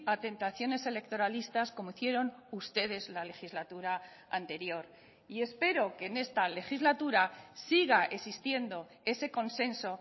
a tentaciones electoralistas como hicieron ustedes la legislatura anterior y espero que en esta legislatura siga existiendo ese consenso